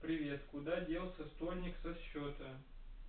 привет куда делся стольник со счета